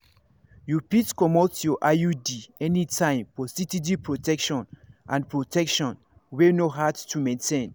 you fit comot your iud anytime for steady protection and protection wey no hard to maintain.